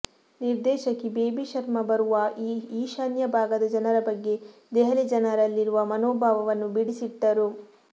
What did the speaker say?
ನಿರ್ದೇಶಕಿ ಬೇಬಿ ಶರ್ಮ ಬರುವಾ ಈಶಾನ್ಯ ಭಾಗದ ಜನರ ಬಗ್ಗೆ ದೆಹಲಿ ಜನರಲ್ಲಿರುವ ಮನೋಭಾವವನ್ನು ಬಿಡಿಸಿಟ್ಟರು